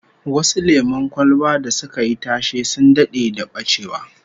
Some popular soft drinks went out of production, like Brahma Orange